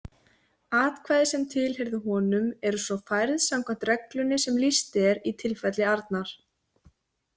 Atkvæði sem tilheyrðu honum eru svo færð samkvæmt reglunni sem lýst er í tilfelli Arnar.